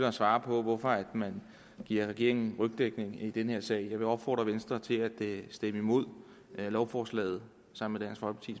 at svare på hvorfor man giver regeringen rygdækning i den her sag jeg vil opfordre venstre til at stemme imod lovforslaget sammen